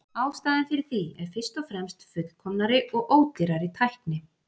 Ástæðan fyrir því er fyrst og fremst fullkomnari og ódýrari tækni.